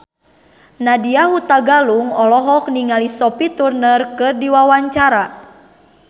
Nadya Hutagalung olohok ningali Sophie Turner keur diwawancara